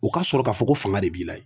U ka sɔrɔ ka fɔ ko fanga de b'i la yen.